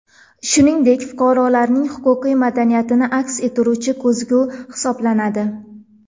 Shuningdek, fuqarolarning huquqiy madaniyatini aks ettiruvchi ko‘zgu hisoblanadi.